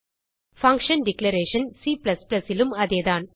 function declaration Cலும் அதேதான்